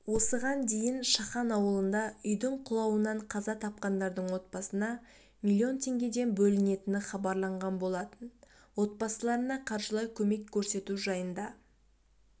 осыған дейін шахан ауылында үйдің құлауынанқаза тапқандардың отбасына миллион теңгеден бөлінетіні хабарланған болатын отбасыларына қаржылай көмек көрсету жайында